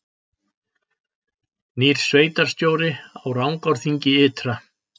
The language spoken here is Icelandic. Nýr sveitarstjóri í Rangárþingi ytra